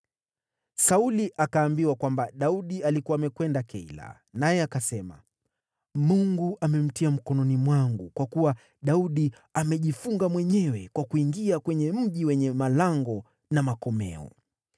Sauli akaambiwa kwamba Daudi alikuwa amekwenda Keila, naye akasema, “Mungu amemtia mkononi mwangu, kwa kuwa Daudi amejifunga mwenyewe kwa kuingia kwenye mji wenye malango na makomeo.”